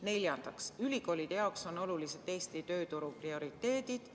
Neljandaks, ülikoolide jaoks on olulised Eesti tööturu prioriteedid.